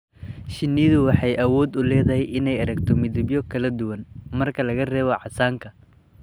Shinnidu waxay awood u leedahay inay aragto midabyo kala duwan, marka laga reebo casaanka.